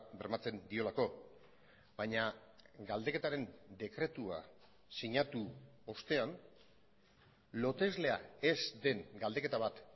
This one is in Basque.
bermatzen diolako baina galdeketaren dekretua sinatu ostean loteslea ez den galdeketa bat